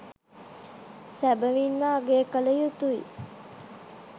සැබවින්ම අගය කල යුතුයි.